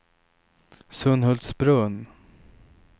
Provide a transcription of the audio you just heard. Sunhultsbrunn